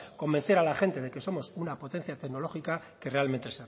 convencer a la gente de que somos una potencia tecnológica que realmente